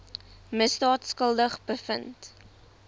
misdaad skuldig bevind